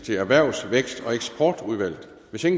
vi har været